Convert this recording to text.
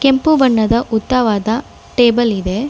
ಕೆಂಪು ಬಣ್ಣದ ಉದ್ದವಾದ ಟೇಬಲ್ ಇದೆ.